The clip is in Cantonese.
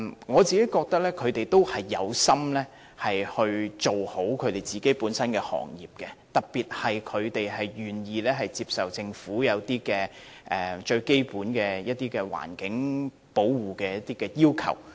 我認為他們有心做好本身的行業，特別是他們願意接受政府就保護環境提出的一些基本要求。